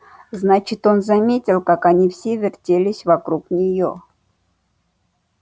значит он заметил как они все вертелись вокруг неё